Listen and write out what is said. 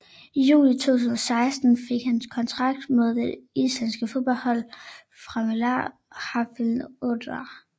I juli 2016 fik han kontrakt med det islandske fodboldhold Fimleikafélag Hafnarfjarðar